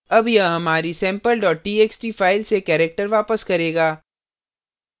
अब यह हमारी sample txt फाइल से character वापस करेगा